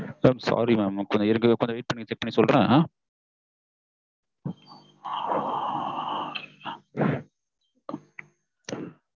mam sorry mam கொஞ்சம் இருக்கத wait பண்ணி check பண்ணி சொல்றேன் sorry mam